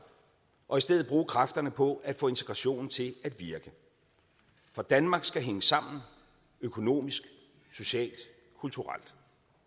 og i stedet bruge kræfterne på at få integrationen til at virke for danmark skal hænge sammen økonomisk socialt og kulturelt